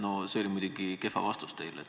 No see oli teil muidugi kehv vastus.